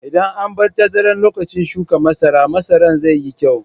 Idan an bar tazara lokacin shukan masara, masaran zai yi kyau.